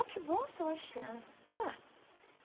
Oh, que bom, Sebastiana. Vamos lá